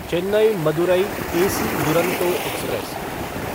Chennai Madurai AC Duronto express